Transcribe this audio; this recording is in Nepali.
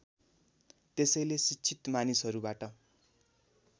त्यसैले शिक्षित मानिसहरूबाट